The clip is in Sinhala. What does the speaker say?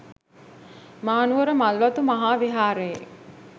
මහනුවර මල්වතු මහා විහාරයේ